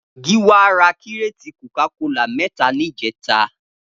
Giwa rà kiréti kókàkólá mẹ̀tá nijẹ̀tá